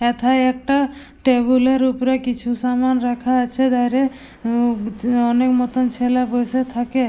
এথায় একটা টেবিল -এর উপরে কিছু সামান রাখা আছে ধারে হুম অনেক মতন ছেলে বসে থাকে।